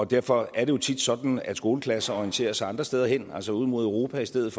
derfor er det jo tit sådan at skoleklasser orienterer sig andre steder hen altså ud mod europa i stedet